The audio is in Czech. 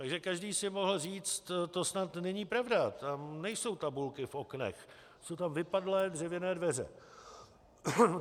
Takže každý si mohl říct, to snad není pravda, tam nejsou tabulky v oknech, jsou tam vypadlé dřevěné dveře.